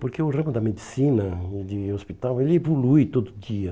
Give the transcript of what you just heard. Porque o ramo da medicina, hum de hospital, ele evolui todo dia.